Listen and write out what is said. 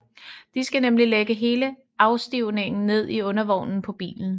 De skal nemlig lægge hele afstivningen ned i undervognen på bilen